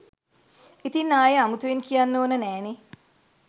ඉතින් ආයෙ අමුතුවෙන් කියන්න ඕන නෑනෙ